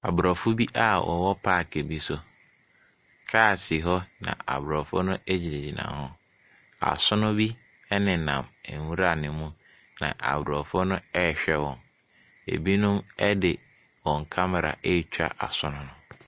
Aborɔfo bi a wɔwɔ paake bi so. Kaa si hɔ na aborɔfo no gyinagyina hɔ. Asono bi nenam nwura no mu, na aborɔfo no rehwɛ wɔn. Ebinom de wɔn camera retwa asono no.